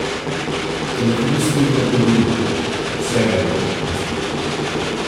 Telefonist mirno odgovori: "Vse bo v redu, gospod.